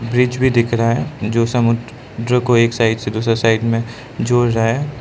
Bridge भी दिख रहा जो समुद्र जो को एक साइड से दूसरा में जोड़ रहा है।